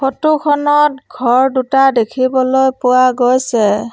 Photo খনত ঘৰ দুটা দেখিবলৈ পোৱা গৈছে।